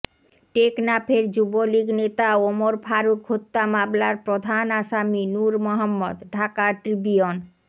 টেকনাফের যুবলীগ নেতা ওমর ফারুক হত্যা মামলার প্রধান আসামি নুর মোহাম্মদ ঢাকা ট্রিবিউন